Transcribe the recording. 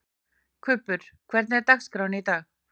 Kubbur, hvernig er dagskráin í dag?